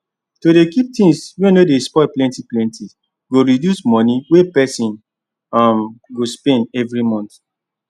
to dey keep things wey no dey spoil plenty plenty go reduce money wey person um go spend every month